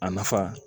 A nafa